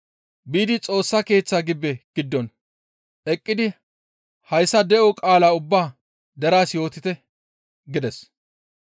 «Biidi Xoossa Keeththaa gibbe giddon eqqidi hayssa de7o qaalaa ubba deraas yootite» gides.